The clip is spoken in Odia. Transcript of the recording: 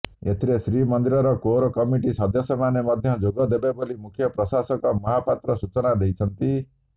ଏଥିରେ ଶ୍ରୀମନ୍ଦିର କୋର୍ କମିଟି ସଦସ୍ୟ ମାନେ ମଧ୍ୟ ଯୋଗ ଦେବେବୋଲି ମୁଖ୍ୟ ପ୍ରଶାସକ ମହାପାତ୍ର ସୂଚନା ଦେଇଛନ୍ତି